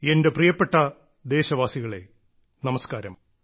എന്റെ പ്രിയപ്പെട്ട ദേശവാസികളെ നമസ്കാരം